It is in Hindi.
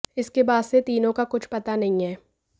इसके बाद से तीनों का कुछ पता नहीं है